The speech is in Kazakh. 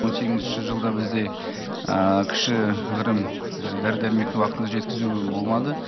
он сегізінші жылда бізде кішігірім дәрі дәрмекті уақытында жеткізу болмады